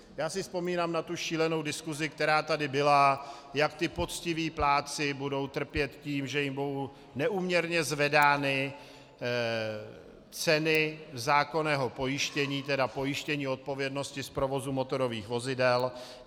Já si vzpomínám na tu šílenou diskusi, která tady byla, jak ti poctiví plátci budou trpět tím, že jim budou neúměrně zvedány ceny zákonného pojištění, tedy pojištění odpovědnosti z provozu motorových vozidel.